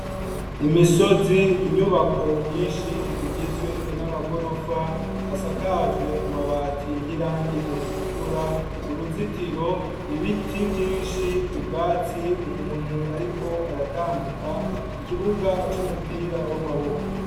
Imisozi inyubako nyinshi zigizwe n'amagorofa asakajwe amabati y'irangi ritukura uruzitiro ibiti vyinshi ubwatsi umuntu, ariko aratambuka ikibuga c'umupira w'amaboko.